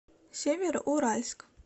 североуральск